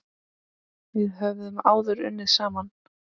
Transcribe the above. Við höfum áður unnið saman.